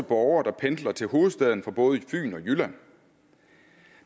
borgere der pendler til hovedstaden fra både fyn og jylland